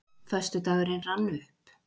Föstudagurinn rann upp.